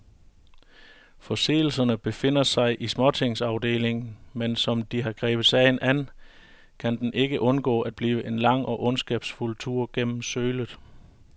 Forseelserne befinder sig i småtingsafdelingen, men som de har grebet sagen an, kan den ikke undgå at blive en lang og ondskabsfuld tur gennem sølet.